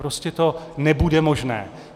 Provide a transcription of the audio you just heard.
Prostě to nebude možné.